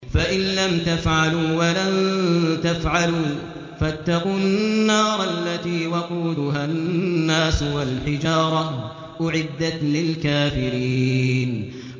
فَإِن لَّمْ تَفْعَلُوا وَلَن تَفْعَلُوا فَاتَّقُوا النَّارَ الَّتِي وَقُودُهَا النَّاسُ وَالْحِجَارَةُ ۖ أُعِدَّتْ لِلْكَافِرِينَ